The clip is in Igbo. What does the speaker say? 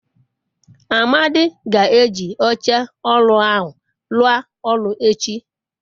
amadi ga-eji oche oru ahu rua oru echi